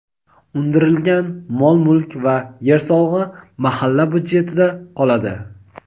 undirilgan mol-mulk va yer solig‘i mahalla byudjetida qoladi;.